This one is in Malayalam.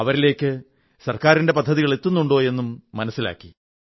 അവരിലേക്ക് ഗവൺമെന്റിന്റെ പദ്ധതികളെത്തുന്നുണ്ടോ എന്നും മനസ്സിലാക്കി